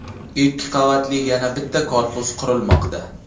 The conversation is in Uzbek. Ikki qavatli yana bitta korpus qurilmoqda.